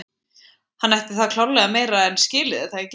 Hann ætti það klárlega meira en skilið er það ekki?